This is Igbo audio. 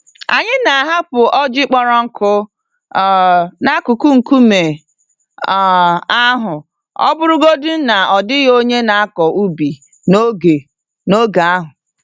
Anyị na-ahapụ ọjị kpọrọ nkụ um n'akụkụ nkume um ahụ ọbụrụgodi na ọ dịghị onye na-akọ ubi n'oge n'oge ahụ.